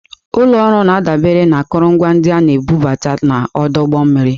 Ụlọ ọrụ na-adabere na akụrụngwa ndị a na-ebubata n'ọdụ ụgbọ mmiri.